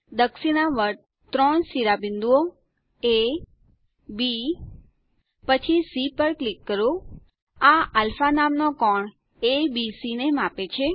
દક્ષિણાવર્ત ત્રણે શિરોબિંદુઓ A B પછી સી પર ક્લિક કરો આ અલ્ફા નામનો કોણ એબીસી ને માપે છે